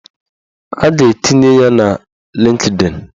A ga-etinye ya na Lịnkdịn